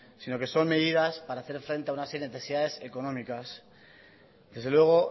sino que son medidas para hacer frente a una serie de necesidades económicas desde luego